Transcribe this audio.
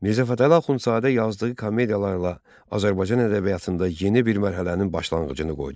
Mirzə Fətəli Axundzadə yazdığı komediyalarla Azərbaycan ədəbiyyatında yeni bir mərhələnin başlanğıcını qoydu.